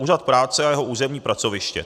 Úřad práce a jeho územní pracoviště.